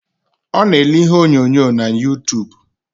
Ọ na ele ihe onyonyo na yutub